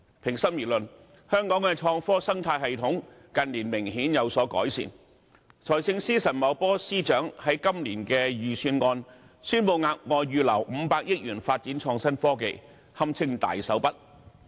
平心而論，香港的創科生態系統近年明顯有所改善，財政司司長陳茂波在今年的預算案宣布額外預留500億元發展創新科技，這堪稱"大手筆"。